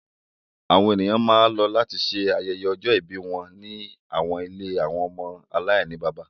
Àwọn eniyan ma n lọ lati ṣe ayẹyẹ ọjọ-ibi wọn ni awọn ìlé awọn ọmọ alainibaba